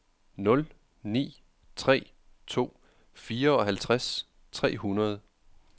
nul ni tre to fireoghalvtreds tre hundrede